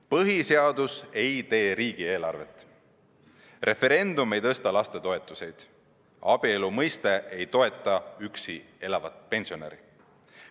Põhiseadus ei tee riigieelarvet, referendum ei tõsta lastetoetusi ja abielu mõiste ei toeta üksi elavat pensionäri.